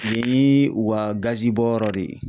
O ye u ka gazi bɔ yɔrɔ de ye